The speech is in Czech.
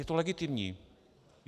Je to legitimní.